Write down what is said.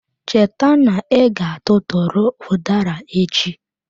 Cheta na iga tụtụrụ udara echi.